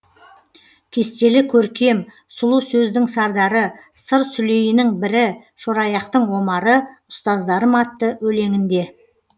кестелі көркем сұлу сөздің сардары сыр сүлейінің бірі шораяқтың омары ұстаздарым атты өлеңінде